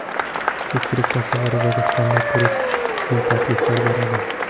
Ko‘pchilik tasavvuridagi standart turist uchun takliflar beradi.